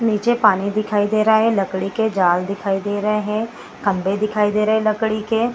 नीचे पानी दिखाई दे रहा है। लकड़ी के जाल दिखाई दे रहे हैं। खम्भे दिखाई दे रहे हे लकड़ी के।